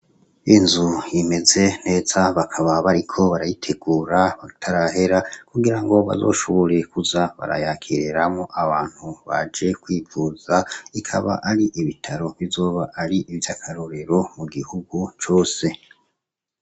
Inzu imeze neza bakaba bariko barayitegura batarahera kugira ngo bazoshoboreekuza barayakireramo abantu baje kwivuza ikaba ari ibitaro bizoba ari ivyo akarorero mu gihugu cose.